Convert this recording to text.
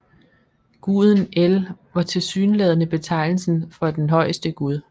Guden El var tilsyneladende betegnelsen for den højeste gud